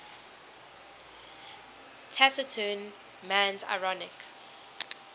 taciturn man's ironic